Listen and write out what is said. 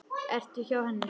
Ertu hjá henni?